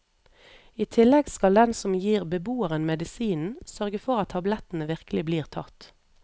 I tillegg skal den som gir beboeren medisinen, sørge for at tablettene virkelig blir tatt.